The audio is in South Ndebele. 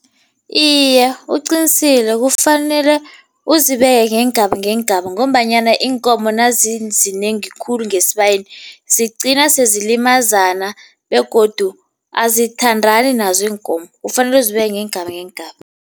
Iye, uqinisile. Kufanele uzibekele ngeengaba ngeengaba ngombanyana iinkomo nazizinengi khulu ngesibayeni zigcina sezilimazana begodu azithandani nazo iinkomo, kufanele uzibeke ngeengaba ngeengaba.